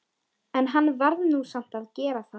En hann varð nú samt að gera það.